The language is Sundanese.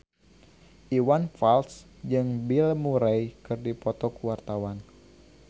Iwan Fals jeung Bill Murray keur dipoto ku wartawan